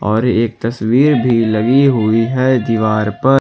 और एक तस्वीर भी लगी हुई है दीवार पर।